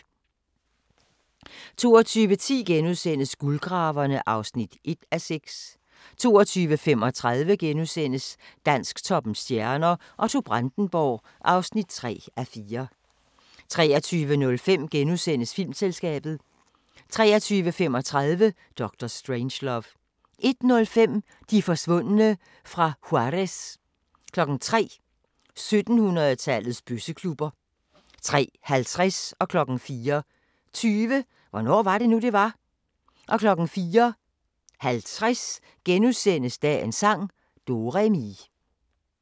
22:10: Guldgraverne (1:6)* 22:35: Dansktoppens stjerner: Otto Brandenburg (3:4)* 23:05: Filmselskabet * 23:35: Dr. Strangelove 01:05: De forsvundne fra Juárez 03:00: 1700-tallets bøsseklubber 03:50: Hvornår var det nu, det var? 04:20: Hvornår var det nu, det var? 04:50: Dagens sang: Do-re-mi *